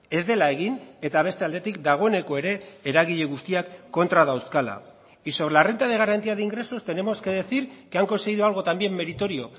ez dela egin eta beste aldetik dagoeneko ere eragile guztiak kontra dauzkala y sobre la renta de garantía de ingresos tenemos que decir que han conseguido algo también meritorio